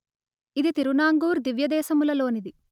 ఇది తిరునాంగూర్ దివ్యదేశముల లోనిది